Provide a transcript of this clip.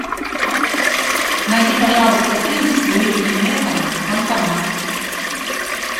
найди пожалуйста фильм с луи де фюнесом фантомас